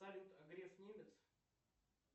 салют а греф немец